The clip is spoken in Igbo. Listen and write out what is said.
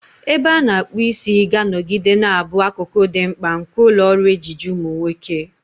Ebe a na-akpu isi ga-anọgide na-abụ akụkụ dị mkpa nke ụlọ ọrụ ejiji ụmụ nwoke.